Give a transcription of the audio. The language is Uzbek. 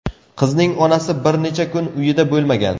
Qizning onasi bir necha kun uyida bo‘lmagan.